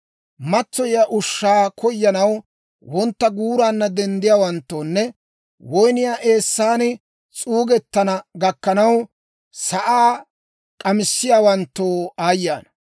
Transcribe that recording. Matsoyiyaa ushshaa koyanaw wontta guuraanna denddiyawanttoonne woyniyaa eessan s'uugettana gakkanaw, sa'aa k'amissiyawanttoo aayye ana!